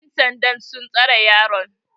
yansandan sun tsare yaron